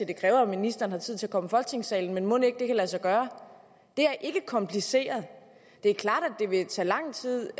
det kræver at ministeren har tid til at komme i folketingssalen men mon ikke det kan lade sig gøre det er ikke kompliceret det er klart at det vil tage lang tid